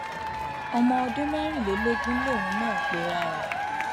ọmọ ọdún mẹrìnlélógún lòun náà pera ẹ